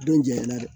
Don jɛnyɛna dɛ